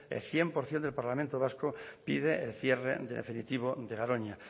el cien por ciento del parlamento vasco pide el cierre definitivo de garoña